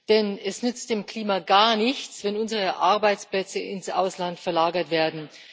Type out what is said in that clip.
Denn es nützt dem Klima gar nichts, wenn unsere Arbeitsplätze ins Ausland verlagert werden.